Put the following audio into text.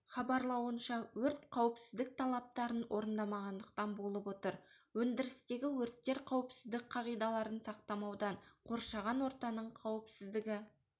хабарлауынша өрт қауіпсіздік талаптарын орындамағандықтан болып отыр өндірістегі өрттер қауіпсіздік қағидаларын сақтамаудан қоршаған ортаның қауіпсіздігі